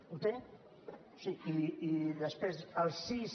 ho té sí i després el sis